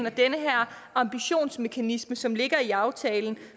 og den her ambitionsmekanisme som ligger i aftalen